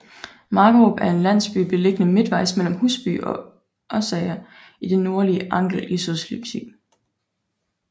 Markerup er en landsby beliggende midtvejs mellem Husby og Oksager i det nordlige Angel i Sydslesvig